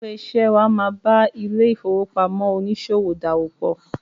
Ilé-iṣẹ́ wà máa ba ilé-ìfowópamọ oníṣòwò dáwòpòpọ.